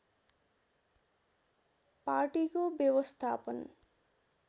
पार्टीको व्यवस्थापन